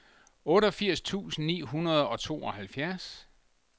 otteogfirs tusind ni hundrede og tooghalvfems